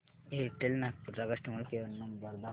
Airtel Nagpur चा customer care number दाखव